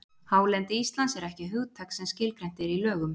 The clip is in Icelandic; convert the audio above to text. Hálendi Íslands er ekki hugtak sem skilgreint er í lögum.